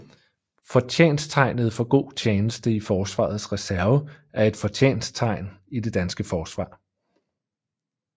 Fortjensttegnet for god tjeneste i Forsvarets Reserve er et fortjensttegn i det danske Forsvar